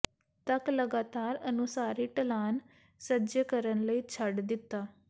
ਤੱਕ ਲਗਾਤਾਰ ਅਨੁਸਾਰੀ ਢਲਾਨ ਸੱਜੇ ਕਰਨ ਲਈ ਛੱਡ ਦਿੱਤਾ